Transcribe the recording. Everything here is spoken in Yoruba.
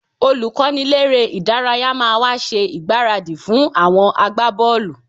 Olùkọ́niléré-ìdárayá máa wá ṣe ìgbáradì fún àwọn agbábọ́ọ̀lù